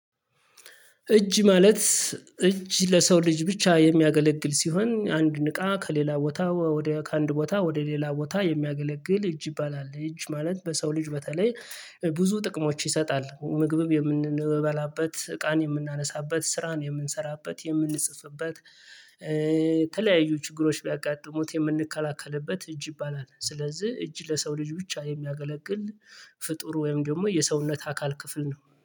እጅ ማለት እጅ ለሰው ልጅ ብቻ የሚያገለግል ሲሆን አንድ እቃ ከሌላ ቦታ ወደ ከአንድ ቦታ ወደ ሌላ ቦታ የሚያገለግል እጅ ይባላል። እጅ ማለት በሰው ልጅ በተለይ ብዙ ጥቅሞች ይሰጣል ምግብም የምንበላበት እቃን የምናነሳበት ስራን የምንሰራበት የምንጽፍበት። የተለያዩ ችግሮች ቢያጋጥሙት የምንከላከልበት እጅ ይባላል። ስለዚህ እጅ ለሰው ልጅ ብቻ የሚያገለግል ፍጡር ወይም ደግሞ የሰውነት አካል ክፍል ነው